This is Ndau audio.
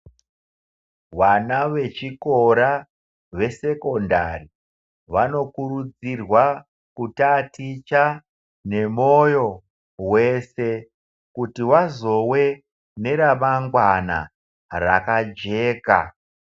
Vana vechikora vesekendari vanokurudzirwa kutaticha nemoyo wese, kuti vazove neramangwana rakajeka.